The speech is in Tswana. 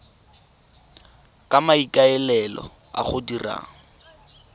ka maikaelelo a go dira